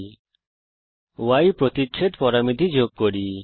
চলুন Y প্রতিচ্ছেদ পরামিতি যোগ করি